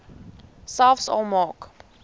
selfs al maak